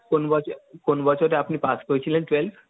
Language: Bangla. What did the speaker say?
কোন বছর, কোন বছরে আপনি পাস করেছিলেন twelve?